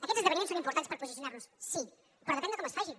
aquests esdeveniments són importants per posicionar nos sí però depèn de com es facin